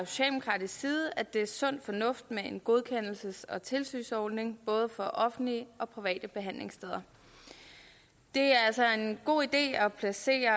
socialdemokratisk side at det er sund fornuft med en godkendelses og tilsynsordning både for offentlige og private behandlingssteder det er altså en god idé at placere